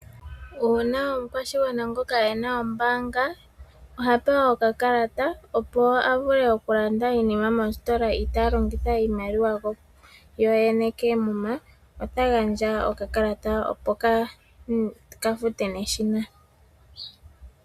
Uuna omukwashigwana ngoka e na ombaanga oha pewa okakalata opo a vule oku landa iinima mositola itaa longitha iimaliwa yoyene keemuma, ota gandja okakalata opo ka fute neshina.